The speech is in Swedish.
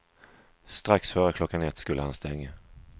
Strax före klockan ett skulle han stänga.